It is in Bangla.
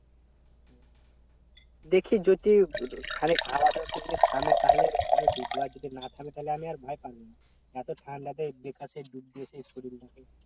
দেখি যদি খানিক হাওয়া টা থামে তাহলে ডুব দেবো আর যদি না থামে তাহলে আমি আর ভাই পারবো না এতো ঠান্ডাতে ডুব দিয়ে সেই শরীরটাকে